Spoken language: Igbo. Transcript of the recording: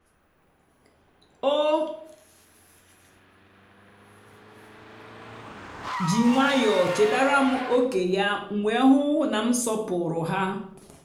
o ji nwayọọ chetara m ókè ya m wee hụ na m sọpụrụ ha.